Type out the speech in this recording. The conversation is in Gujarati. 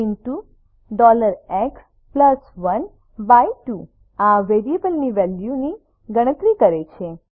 rxએક્સ12 આર વેરિયેબલની વેલ્યુની ગણતરી કરે છે